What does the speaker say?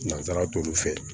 Nansara t'olu fɛ